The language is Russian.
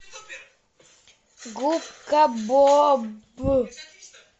губка боб